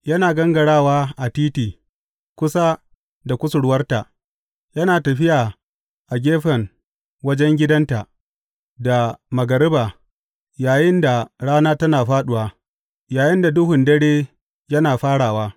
Yana gangarawa a titi kusa da kusurwarta, yana tafiya a gefen wajen gidanta da magariba, yayinda rana tana fāɗuwa, yayinda duhun dare yana farawa.